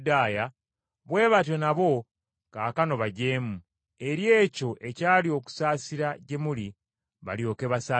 bwe batyo nabo kaakano bajeemu, eri ekyo ekyali okusaasira gye muli, balyoke basaasirwe.